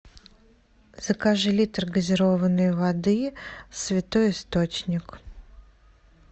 закажи литр газированной воды святой источник